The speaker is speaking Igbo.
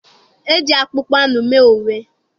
E ji akpụkpọ anụ mee uwe.